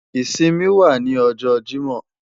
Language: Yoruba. Isinmi wa ni ọjọ Jimọ